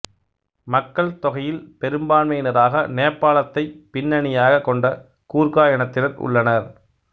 மக்கள்தொகையில் பெரும்பான்மையினராக நேபாளத்தை பின்னணியாகக் கொண்ட கூர்கா இனத்தினர் உள்ளனர்